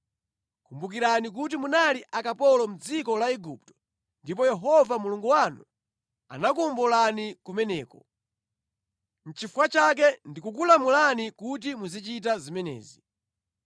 Kumbukirani kuti munali akapolo mʼdziko la Igupto ndipo Yehova Mulungu wanu anakuwombolani kumeneko. Nʼchifukwa chake ndikukulamulani kuti muzichita zimenezi.